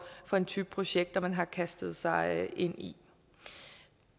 for en type projekter man har kastet sig ind i